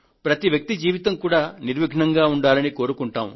ప్రతి వ్యక్తి జీవితం కూడా నిర్విఘ్నంగా ఉండాలని కోరుకుంటాము